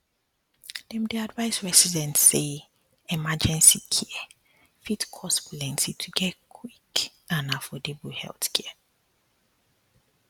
dem dey advise residents say emergency care fit cost plenty to get quick and affordable healthcare